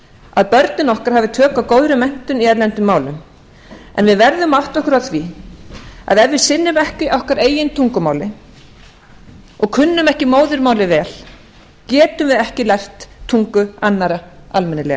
að börnin okkar hafi tök á góðri menntun í erlendum málum en við verðum að átta okkur á því að ef við sinnum ekki okkar eigin tungumáli og kunnum ekki móðurmálið vel árum við ekki lært tungu annarra almennilega